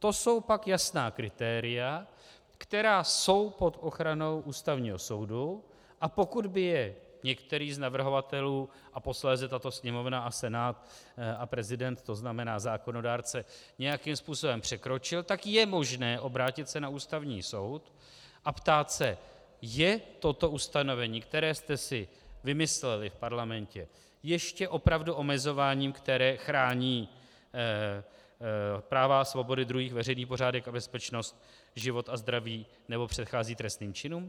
To jsou pak jasná kritéria, která jsou pod ochranou Ústavního soudu, a pokud by je některý z navrhovatelů a posléze tato Sněmovna a Senát a prezident, to znamená zákonodárce, nějakým způsobem překročil, tak je možné obrátit se na Ústavní soud a ptát se: Je toto ustanovení, které jste si vymysleli v Parlamentě ještě opravdu omezováním, které chrání práva a svobody druhých, veřejný pořádek a bezpečnost, život a zdraví nebo předchází trestným činům?